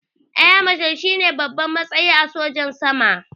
Eya mashal shine babban matsayi a sojan sama